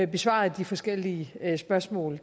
besvaret de forskellige spørgsmål